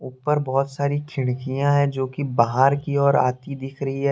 उपर बहोत सारी खिड़कियां हैंजो कि बाहर की ओर आती दिख रही है।